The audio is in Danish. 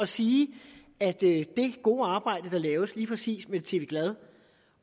sige at det gode arbejde der laves lige præcis med tv glad